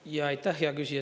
Aitäh, hea küsija!